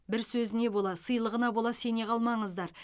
бір сөзіне бола сыйлығына бола сене қалмаңыздар